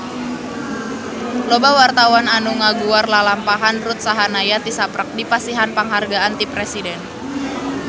Loba wartawan anu ngaguar lalampahan Ruth Sahanaya tisaprak dipasihan panghargaan ti Presiden